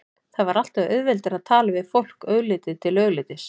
Það var alltaf auðveldara að tala við fólk augliti til auglitis.